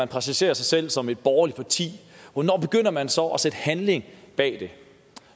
præsentere sig selv som et borgerligt parti hvornår begynder man så at sætte handling bag